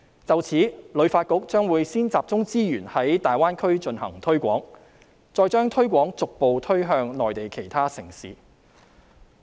就此，旅遊發展局將會先集中資源在大灣區進行推廣，然後將推廣逐步推向內地其他城市。